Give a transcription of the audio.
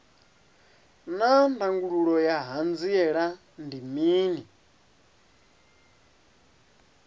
naa ndangulo ya hanziela ndi mini